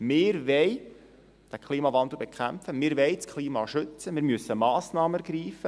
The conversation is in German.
Wir wollen den Klimawandel bekämpfen, wir wollen das Klima schützen, wir müssen Massnahmen ergreifen.